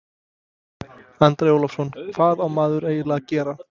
Andri Ólafsson: Hvað á maður eiginlega að gera?